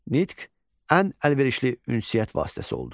Nitq ən əlverişli ünsiyyət vasitəsi oldu.